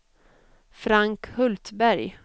Frank Hultberg